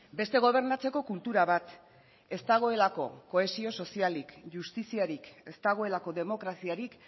beste gobernatzeko kultura bat ez dagoelako kohesio sozialik justiziarik ez dagoelako demokraziarik